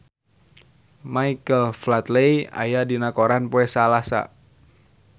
Michael Flatley aya dina koran poe Salasa